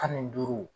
Tan ni duuru